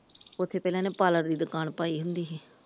ਉੱਥੇ ਪਹਿਲਾ ਇਹਨੇ ਪਾਰਲਰ ਦੀ ਦੁਕਾਨ ਪਾਈ ਹੁੰਦੀ ਸੀ ।